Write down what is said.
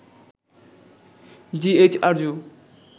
GH Arzu